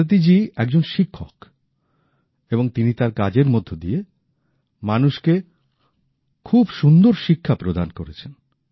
ভারতী জি একজন শিক্ষক এবং তিনি তার কাজের মধ্যে দিয়ে মানুষকে খুব সুন্দর শিক্ষা প্রদান করেছেন